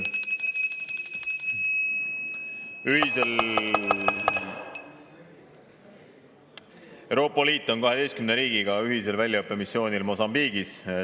Euroopa Liit on 12 riigiga ühisel väljaõppemissioonil Mosambiigis.